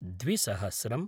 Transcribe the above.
द्विसहस्रम्